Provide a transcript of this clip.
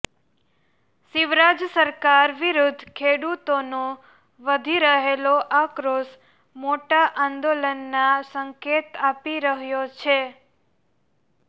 શિવરાજ સરકાર વિરૂદ્ધ ખેડૂતોનો વધી રહેલો આક્રોશ મોટા આંદોલનના સંકેત આપી રહ્યો છે